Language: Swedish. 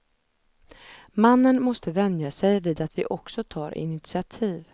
Mannen måste vänja sig vid att vi också tar initiativ.